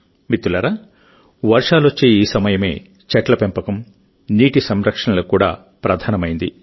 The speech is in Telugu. మిత్రులారా వర్షాలొచ్చే ఈ సమయమే చెట్ల పెంపకం నీటి సంరక్షణలకు కూడా ప్రధానమైంది